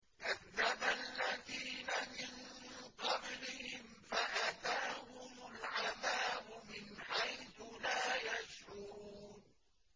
كَذَّبَ الَّذِينَ مِن قَبْلِهِمْ فَأَتَاهُمُ الْعَذَابُ مِنْ حَيْثُ لَا يَشْعُرُونَ